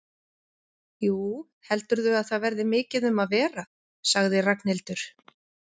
Jú, heldurðu að það verði mikið um að vera? sagði Ragnhildur.